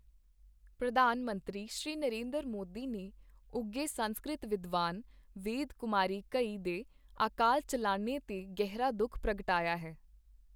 ਪ੍ਰਧਾਨ ਮੰਤਰੀ, ਸ਼੍ਰੀ ਨਰਿੰਦਰ ਮੋਦੀ ਨੇ ਉੱਘੇ ਸੰਸਕ੍ਰਿਤ ਵਿਦਵਾਨ ਵੇਦ ਕੁਮਾਰੀ ਘਈ ਦੇ ਅਕਾਲ ਚੱਲਾਣੇ ਤੇ ਗਹਿਰਾ ਦੁੱਖ ਪ੍ਰਗਟਾਇਆ ਹੈ।